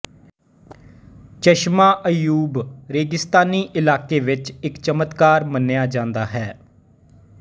ਚਸ਼ਮਾ ਅਯੂਬ ਰੇਗਿਸਤਾਨੀ ਇਲਾਕੇ ਵਿੱਚ ਇੱਕ ਚਮਤਕਾਰ ਮੰਨਿਆ ਜਾਂਦਾ ਹੈ